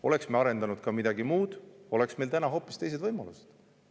Oleks me arendanud ka midagi muud, oleks meil täna hoopis teised võimalused.